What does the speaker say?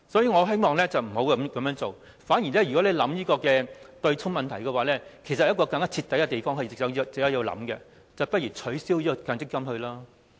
我希望政府不要這樣做，反而在考慮對沖問題時，其實有一個更徹底的方案值得考慮，也就是取消強積金制度。